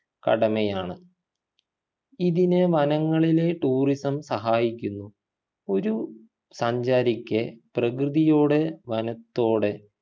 കടമയാണ് ഇതിനു വനങ്ങളിലെ tourism സഹായിക്കുന്നു ഒരു സഞ്ചാരിക്ക് പ്രകൃതിയൂടെ വനത്തോടെ